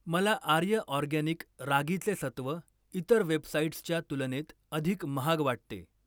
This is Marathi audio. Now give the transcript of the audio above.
मला आर्य ऑरगॅनिक रागीचे सत्व इतर वेबसाइट्सच्या तुलनेत अधिक महाग वाटते.